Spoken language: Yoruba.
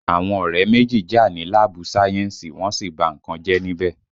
Àwọn ọ̀rẹ́ méjì jà ní láàbù sáyẹ́ǹsì, wọ́n sì ba nǹkan jẹ́ níbẹ̀